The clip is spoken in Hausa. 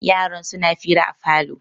yaran suna hira da falo